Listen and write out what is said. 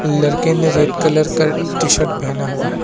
लड़के ने red colour का टी शर्ट पहना हुआ है।